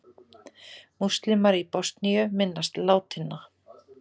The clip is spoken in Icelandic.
Múslímar í Bosníu minnast látinna